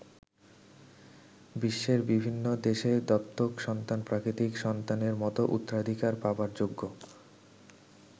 বিশ্বের বিভিন্ন দেশে দত্তক সন্তান প্রাকৃতিক সন্তানের মতো উত্তরাধিকার পাবার যোগ্য।